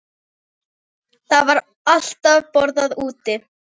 Það var alltaf borðað úti.